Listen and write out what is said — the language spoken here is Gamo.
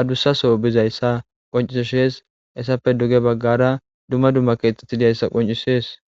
adusaaso bizaysa qoncises hesafe duge bagara dumma dumma kethati dizaysa qoncises